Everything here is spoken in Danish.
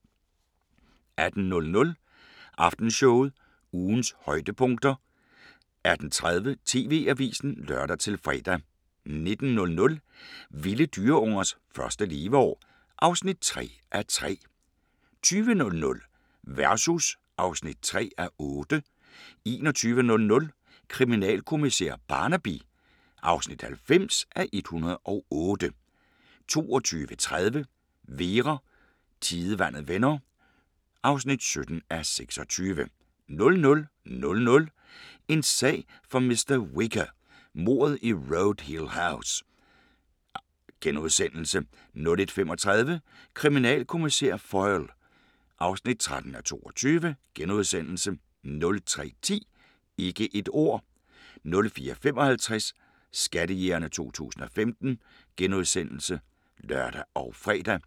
18:00: Aftenshowet – ugens højdepunkter 18:30: TV-avisen (lør-fre) 19:00: Vilde dyreungers første leveår (3:3) 20:00: Versus (3:8) 21:00: Kriminalkommissær Barnaby (90:108) 22:30: Vera: Tidevandet vender (17:26) 00:00: En sag for mr. Whicher: Mordet i Road Hill House * 01:35: Kriminalkommissær Foyle (13:22)* 03:10: Ikke et ord 04:55: Skattejægerne 2015 *(lør og fre)